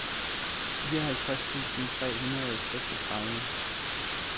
fireoghalvtreds tusind tre hundrede og seksogtredive